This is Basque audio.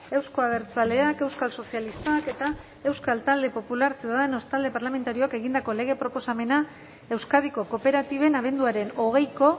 euzko abertzaleak euskal sozialistak eta euskal talde popular ciudadanos talde parlamentarioek egindako lege proposamena euskadiko kooperatiben abenduaren hogeiko